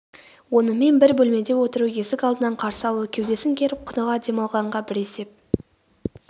онымен бір бөлмеде отыру есік алдынан қарсы алу кеудесін керіп құныға дем алғанға бір есеп